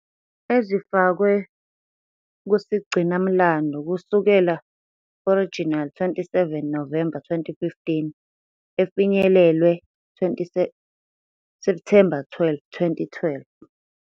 Ezifakwe kusigcinamlando kusukela original 27 Novemba 2015. efinyelelwe September 12, 2012.